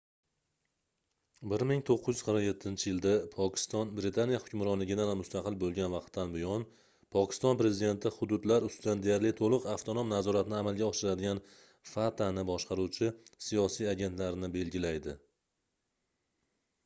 1947-yilda pokiston britaniya hukmronligidan mustaqil bo'lgan vaqtdan buyon pokiston prezidenti hududlar ustidan deyarli to'liq avtonom nazoratni amalga oshiradigan fatani boshqaruvchi siyosiy agentlar"ni belgilaydi